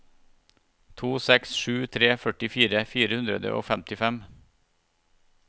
to seks sju tre førtifire fire hundre og femtifem